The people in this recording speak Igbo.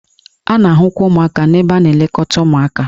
A na-ahụkwa ụmụaka n'ebe a na-elekọta ụmụaka.